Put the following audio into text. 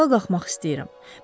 Mən ayağa qalxmaq istəyirəm.